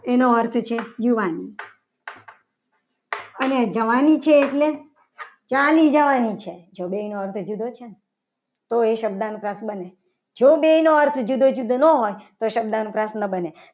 એનો અર્થ છે. જવાની અને જવાની છે. એટલે ચાલી જવાની છે. તો એનો અર્થ જુદો છે. ને તો એ શબ્દાનુપ્રાસ બને જો બે નો અર્થ જુદો જુદો ના હોય તો શબ્દાનુપ્રાસ ન બને.